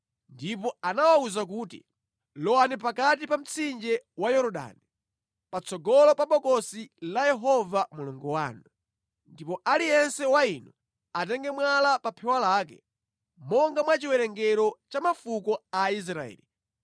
ndipo anawawuza kuti, “Lowani pakati pa mtsinje wa Yorodani, patsogolo pa Bokosi la Yehova Mulungu wanu. Ndipo aliyense wa inu atenge mwala pa phewa lake, monga mwa chiwerengero cha mafuko a Aisraeli,